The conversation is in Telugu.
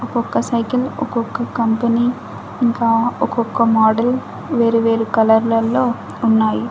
ఒక్కొక్క సైకిల్ ఒక్కొక్క కంపెనీ ఇంకా ఒక్కొక్క మోడల్ వేరు-వేరు కలర్ లల్లో ఉన్నాయి.